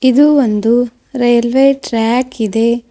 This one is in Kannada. ಇದು ಒಂದು ರೈಲ್ವೆ ಟ್ರ್ಯಾಕ್ ಇದೆ.